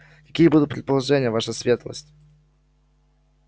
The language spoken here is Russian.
какие будут предложения ваша светлость